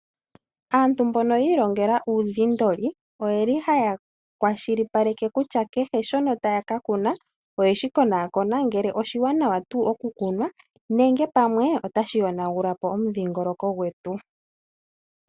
Aantu mbono yiilongela uudhindoli, oyeli haya kwashilipaleke kutya kehe shono taya ka kuna, oyeshi konaakona ngele oshiwanawa oku kunwa, nenge pamwe otashi yonagulapo omudhingoloko gwetu.